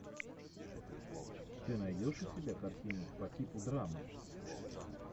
ты найдешь у себя картину по типу драмы